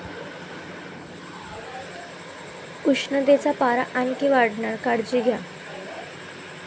उष्णतेचा पारा आणखी वाढणार, काळजी घ्या!